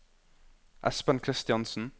Espen Kristiansen